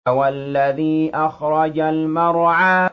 وَالَّذِي أَخْرَجَ الْمَرْعَىٰ